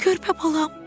Körpə balam.